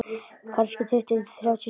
Kannski tuttugu til þrjátíu sinnum